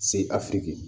Se afiriki